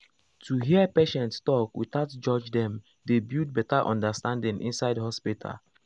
to hear patient talk without judge dem dey build better understanding inside hospital.